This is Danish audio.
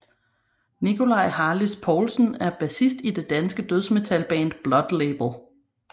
Nikolaj Harlis Poulsen er bassist i det danske dødsmetal band Blood Label